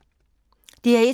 DR1